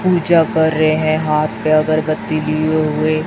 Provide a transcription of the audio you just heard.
पूजा कर रहे हैं हाथ में अगरबत्ती लिए हुए--